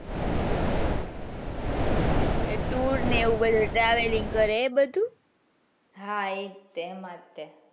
એ tour ને એવું બધું travelling કરે એ બધું હા એ જ છે એમાં જ છે.